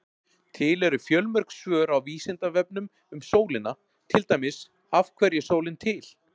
Til eru fjölmörg svör á Vísindavefnum um sólina, til dæmis: Af hverju er sólin til?